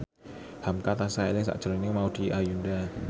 hamka tansah eling sakjroning Maudy Ayunda